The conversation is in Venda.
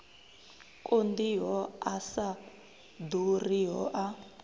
konḓiho a sa ḓuriho a